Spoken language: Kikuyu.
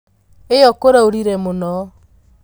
Iyo kũraurire mũno.